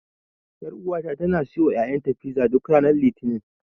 Ƴaruwata tana siyowa ƴaƴanta fiza, duk ranar Litinin.